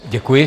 Děkuji.